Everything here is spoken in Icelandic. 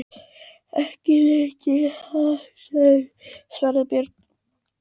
Ekki veit ég það, svaraði Björn.